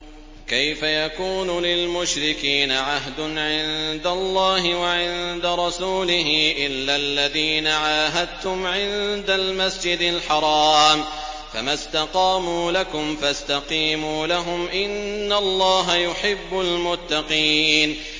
كَيْفَ يَكُونُ لِلْمُشْرِكِينَ عَهْدٌ عِندَ اللَّهِ وَعِندَ رَسُولِهِ إِلَّا الَّذِينَ عَاهَدتُّمْ عِندَ الْمَسْجِدِ الْحَرَامِ ۖ فَمَا اسْتَقَامُوا لَكُمْ فَاسْتَقِيمُوا لَهُمْ ۚ إِنَّ اللَّهَ يُحِبُّ الْمُتَّقِينَ